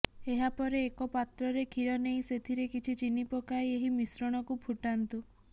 ଏହାପରେ ଏକପାତ୍ରରେ କ୍ଷୀର ନେଇ ସେଥିରେ କିଛି ଚିନି ପକାଇ ଏହି ମିଶ୍ରଣକୁ ଫୁଟାନ୍ତୁ